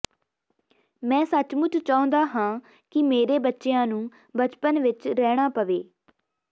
ਮੈਂ ਸੱਚਮੁੱਚ ਚਾਹੁੰਦਾ ਹਾਂ ਕਿ ਮੇਰੇ ਬੱਚਿਆਂ ਨੂੰ ਬਚਪਨ ਵਿਚ ਰਹਿਣਾ ਪਵੇ